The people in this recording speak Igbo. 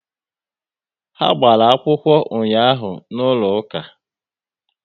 Ha gbara akwụkwọ ụnyaahụ n'ụlọ ụka